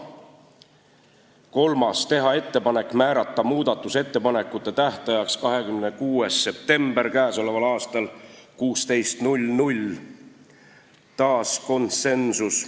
Kolmandaks, teha ettepanek määrata muudatusettepanekute tähtajaks k.a 26. september kell 16 – taas konsensus.